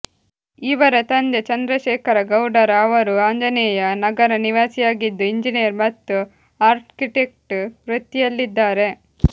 ಇವರ ತಂದೆ ಚಂದ್ರಶೇಖರ ಗೌಡರ ಅವರು ಆಂಜನೇಯ ನಗರ ನಿವಾಸಿಯಾಗಿದ್ದು ಇಂಜೀನಿಯರ್ ಮತ್ತು ಆರ್ಕಿಟೆಕ್ಟ ವೃತ್ತಿಯಲ್ಲಿದ್ದಾರೆ